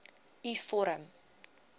u vorm